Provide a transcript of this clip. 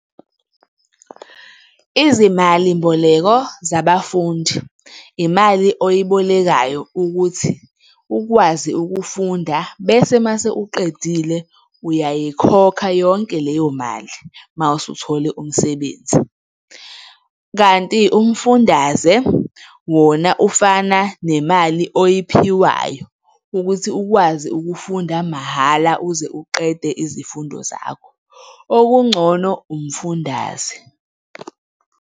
Izimalimboleko zabafundi, imali oyibolekayo ukuthi ukwazi ukufunda bese uma usuqedile, uyayikhokha yonke leyo mali uma usuthole umsebenzi, kanti umfundaze wona, ufana nemali oyiphiwayo ukuthi ukwazi ukufunda mahhala uze uqede izifundo zakho. Okungcono, umfundaze.